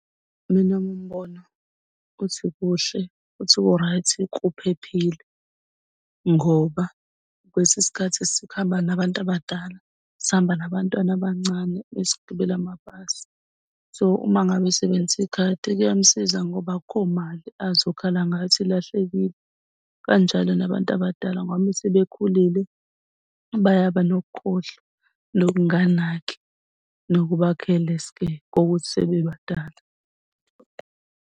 Mina owami umbono uthi kuhle, uthi ku-right kuphephile ngoba kwesinye isikhathi sihamba nabantu abadala, sihamba nabantwana abancane mesigibele amabhasi. So, uma ngabe esebenzisa ikhadi, kuyamsiza ngoba akukho mali azokhala ngayo ukuthi ilahlekile. Kanjalo nabantu abadala ngoba uma sebekhulile bayaba nokukhohlwa nokunganaki nokuba careless-ke kokuthi sebebadala.